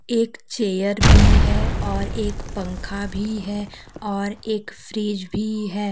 एक चेयर भी है और एक पंखा भी है और एक फ्रिज भी है।